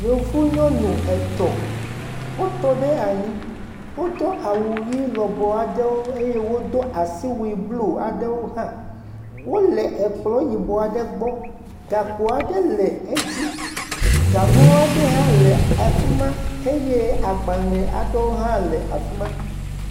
Yevu nyɔnu wotɔ ɖe anyi. Wodo awuʋi lɔbɔ aɖewo eye wodo asiwui blu aɖewo hã. Wole kplɔ̃ yibɔ aɖe gbɔ. Gakpo aɖe le edzi. Gaŋu aɖe hã le afi ma eye agbalẽ aɖewo hã le afi ma.